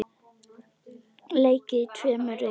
Leikið í tveimur riðlum.